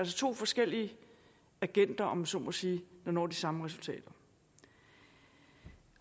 to forskellige agenter om jeg så må sige der når de samme resultater